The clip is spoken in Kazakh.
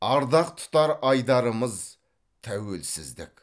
ардақ тұтар айдарымыз тәуелсіздік